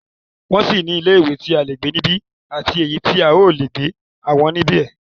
Wọn sì ní ilé ìwé tí a lè gbé nibẹ ati èyí tí a o le gbé àwọn níbẹ.